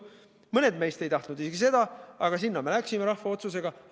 Mõned meist ei tahtnud isegi seda, aga sinna me läksime rahva otsusega.